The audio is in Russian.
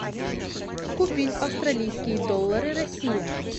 купить австралийские доллары россия